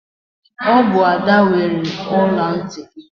Ọ bụ Ada weere ọla ntị gị.